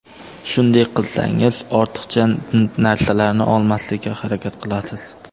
Shunday qilsangiz ortiqcha narsalarni olmaslikka harakat qilasiz.